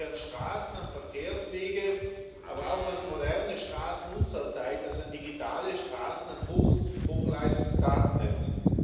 Ich denke an Straßen, an Verkehrswege, aber auch an moderne Straßen unserer Zeit, das sind digitale Straßen und Hochleistungsdatennetze.